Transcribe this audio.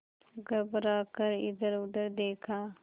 घबरा कर इधरउधर देखा